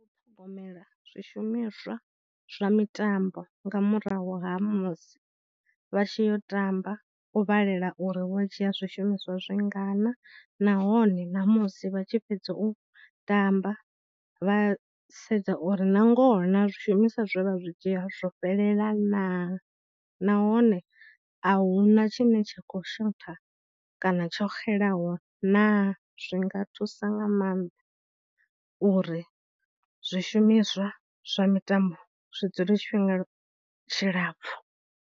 U ṱhogomela zwishumiswa zwa mitambo nga murahu ha musi vha tshi yo tamba u vhalela uri wa dzhia zwishumiswa zwi lingana nahone namusi vha tshi fhedza u tamba vha sedza uri na ngoho na zwishumiswa zwo vha zwi dzhia zwo fhelela naa, nahone a hu na tshine tsha khou shotha kana tsho xelaho naa. Zwi nga thusa nga maanḓa uri zwishumiswa zwa mitambo zwi dzule tshifhinga tshilapfhu.